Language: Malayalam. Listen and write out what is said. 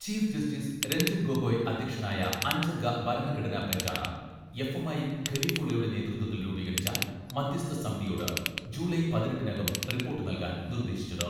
ചീഫ് ജസ്റ്റിസ് രഞ്ജൻ ഗൊഗോയ് അധ്യക്ഷനായ അഞ്ചംഗ ഭരണഘടനാ ബെഞ്ചാണ് എഫ്.എം.ഐ ഖലീഫുള്ളയുടെ നേതൃത്വത്തിൽ രൂപീകരിച്ച മധ്യസ്ഥ സമിതിയോട് ജൂലൈ പതിനെട്ടിനകം റിപ്പോർട്ട് നൽകാൻ നിർദേശിച്ചത്.